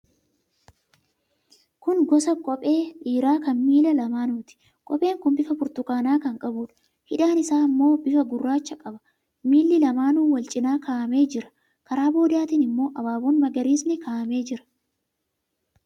Kun gosa kophee dhiiraa kan miila lamaanuuti. Kopheen kun bifa burtukaanaa kan qabuudha. Hidhaan isaa immoo bifa gurraacha qaba. Miili lamaanuu wal cina kaa'amee jira. Karaa boodaatiin immoo abaaboon magariisni kaa'amee jira.